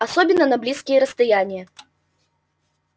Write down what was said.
особенно на близкие расстояния